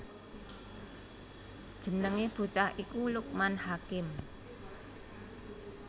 Jenengé bocah iku Lukman Hakim